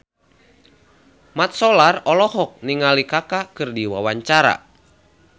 Mat Solar olohok ningali Kaka keur diwawancara